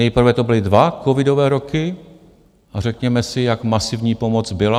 Nejprve to byly dva covidové roky a řekněme si, jak masivní pomoc byla.